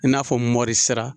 I na fɔ mɔri sira.